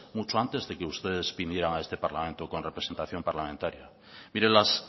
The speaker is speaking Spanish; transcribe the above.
mucho antes de que ustedes vinieran a este parlamento con representación parlamentaria mire las